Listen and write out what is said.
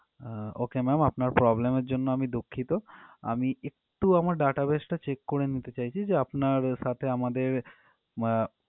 ওকে ma'am আপনার problem এর জন্য আমি দুঃখিত আমি একটু আমার database টা check করে নিতে চাইছি যে আপনার সাথে আমাদের আহ